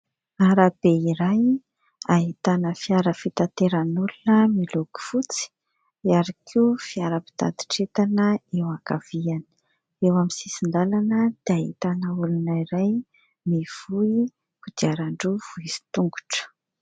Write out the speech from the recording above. Arabe iray ahitana fiara fitateran'olona miloko fotsy iary koa fiara-pitatra entana eo ankaviany eo amin'ny sisin-dalana dia ahitana olona iray mivoy kodiarandroa misy tongotro .